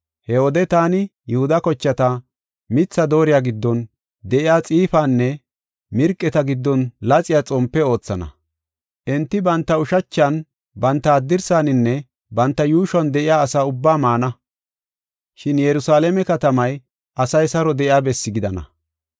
“He wode taani Yihuda kochata mitha dooriya giddon de7iya xiifanne mirqeeta giddon laxiya xompe oothana. Enti banta ushachan, banta haddirsaninne banta yuushuwan de7iya asa ubbaa maana; shin Yerusalaame katamay, asay saro de7iya bessi gidana.